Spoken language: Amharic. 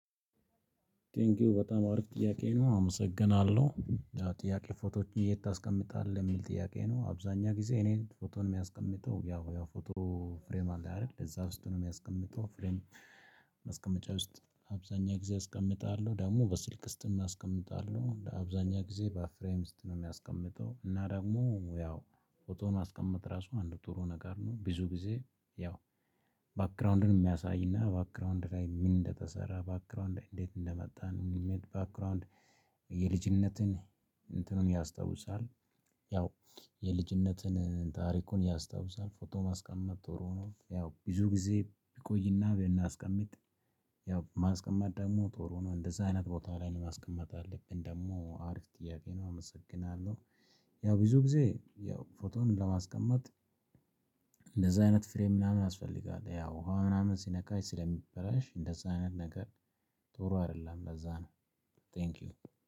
ቴንኪው በጣም አሪፍ ጥያቄ ነው አመሰግናለሁ። ጥያቄ ፎቶዎችን የት ታስቀምጣለህ የሚል ጥያቄ ነው። አብዛኛው ጊዜ እኔን ፎቶ ነው የሚያስቀምጠው ያው ያው ፎቶ ፍሬም አለ አይደል ለዛ ውስጥ ነው የሚያስቀምጠው ፍሬም አስቀምጫ ውስጥ አብዛኛው ጊዜ አስቀምጣለሁ። ደግሞ በስልክ ውስጥም አስቀምጣለሁ። እንደ አብዛኛው ጊዜ በፍሬም ውስጥ ነው የሚያስቀምጠው። እና ደግሞ ያው ፎቶን ማስቀመጥ ራሱ አንድ ጥሩ ነገር ነው። ብዙ ጊዜ ያው ባክግራውንድን የሚያሳይና ባክግራውንድ ላይ ምን እንደተሰራ ባክግራውንድ እንዴት እንደመጣን ባክግራውንድ የልጅነትን እንትኑን ያስታውሳል። ያው የልጅነትን ታሪኩን ያስታውሳል። ፎቶ ማስቀመጥ ጥሩ ነው። ያው ብዙ ጊዜ ቢቆይና ብናስቀምጥ። ያው ማስቀመጥ ደግሞ ጥሩ ነው እንደዚህ አይነት ቦታ ላይ ነው ማስቀመጥ አለብን። ደግሞ አሪፍ ጥያቄ ነው። አመሰግናለሁ ያው ብዙ ጊዜ ያው ፎቶን ለማስቀመጥ። እንደዛ አይነት ፍሬ ምናምን አስፈልጋለሁ ያው ውሃ ምናምን ሲነካ ስለሚበላሽ እንደዛ አይነት ነገር። ጥሩ አይደለም ለዛ ነው። ቴንኪው